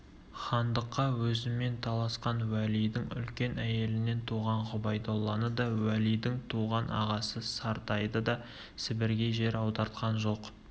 хандыққа өзімен таласқан уәлидің үлкен әйелінен туған ғұбайдолланы да уәлидің туған ағасы сартайды да сібірге жер аудартқан жоқ